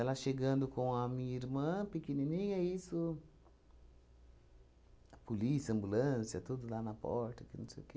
Ela chegando com a minha irmã pequenininha e isso... Polícia, ambulância, tudo lá na porta, que não sei o quê.